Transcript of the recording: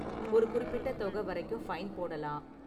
ஒரு குறிப்பிட்ட தொகை வரைக்கும் ஃபைன் போடலாம்.